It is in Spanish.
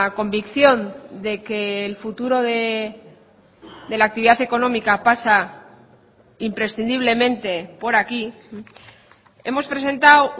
convicción de que el futuro de la actividad económica pasa imprescindiblemente por aquí hemos presentado